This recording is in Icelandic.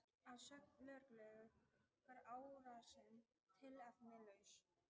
Að sögn lögreglu var árásin tilefnislaus